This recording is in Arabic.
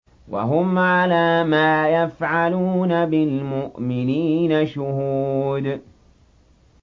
وَهُمْ عَلَىٰ مَا يَفْعَلُونَ بِالْمُؤْمِنِينَ شُهُودٌ